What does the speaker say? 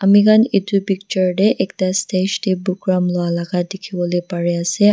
ami khan edu picture tae ekta stage tae program lwala ka dikhiwolae parease.